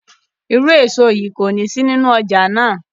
Iru eso yii koni si ninu ọja naa